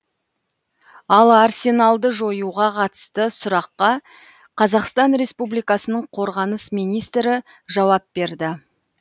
ал арсеналды жоюға қатысты сұраққа қазақстан республикасының қорғаныс министрі жауап берді